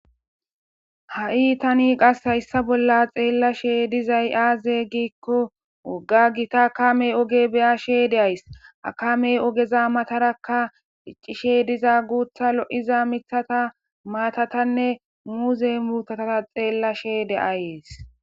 ha'i tani qas hayssa bolla xeellashe dizay aaze giikko wogga gita akamey oge beya she deays akamey ogeza matarakka iccishe diza guutha lo'iza mithata maatatanne muuze mutata xeellashe de'ayees